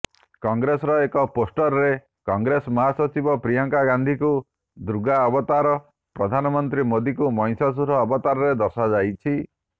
କଂଗ୍ରେସର ଏକ ପୋଷ୍ଟରରେ କଂଗ୍ରେସ ମହାସଚିବ ପ୍ରିୟଙ୍କା ଗାନ୍ଧୀଙ୍କୁ ଦୁର୍ଗା ଅବତାର ପ୍ରଧାନମନ୍ତ୍ରୀ ମୋଦିଙ୍କୁ ମହିଷାସୁର ଅବତାରରେ ଦର୍ଶାଯାଇଛି